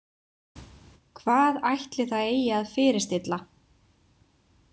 Hvað ætli það eigi að fyrirstilla?